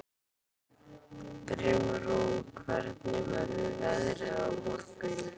Brimrún, hvernig verður veðrið á morgun?